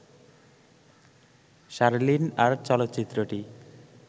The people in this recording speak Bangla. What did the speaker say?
শার্লিন আর চলচ্চিত্রটি